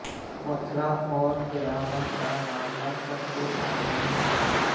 मथुरा और कैराना का मामला सबके सामने है